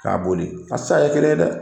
K'a boli a te se ka kɛ kelen ye dɛ!